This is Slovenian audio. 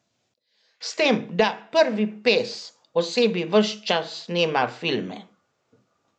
S tem, da prvi pes o sebi ves čas snema filme ...